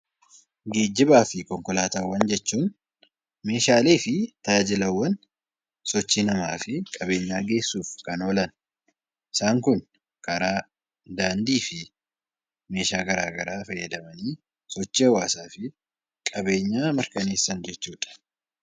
Geejjibaa fi konkolaataawwan jechuun meeshaalee fi tajaajilaawwan sochii namaa fi qabeenyaa geessuuf kan oolan. Isaan kun karaa, daandii fi meeshaa gara garaa fayyadamanii sochii hawaasaa fi qabeenyaa mirkaneessan jechuu dha.